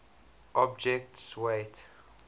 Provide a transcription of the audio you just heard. object s weight